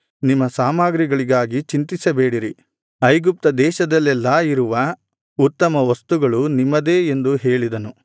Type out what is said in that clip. ನಿಮ್ಮ ಸಾಮಗ್ರಿಗಳಿಗಾಗಿ ಚಿಂತಿಸಬೇಡಿರಿ ಐಗುಪ್ತ ದೇಶದಲ್ಲೆಲ್ಲಾ ಇರುವ ಉತ್ತಮ ವಸ್ತುಗಳು ನಿಮ್ಮದೇ ಎಂದು ಹೇಳಿದನು